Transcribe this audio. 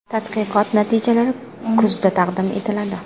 Tadqiqot natijalari kuzda taqdim etiladi.